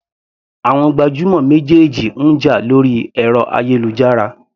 Àwọn gbajúmọ̀ méjèèjì ń jà lórí ẹ̀rọ ayélujára.